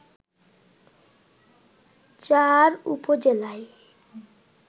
চার উপজেলায়